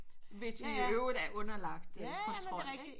Hvis vi i øvrigt er underlang kontrol ikke